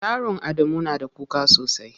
Yaron Adamu na da kuka sosai.